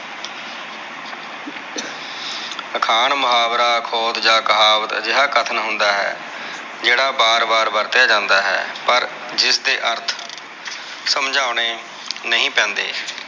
ਅਖਾਣ, ਮੁਹਾਵਰੇ, ਖੋਟ ਜਾ ਕਹਾਵਤ ਅਜਿਹਾ ਕਥਨ ਹੁੰਦਾ ਹੈ ਜਿਹੜਾ ਬਾਰ ਬਾਰ ਵਰਤਿਆ ਜਾਂਦਾ ਹੈ। ਅਰਥ ਜਿਸਦੇ ਅਰਥ ਸਂਮਝਾਉਣੇ ਨਹੀਂ ਪੈਂਦੇ।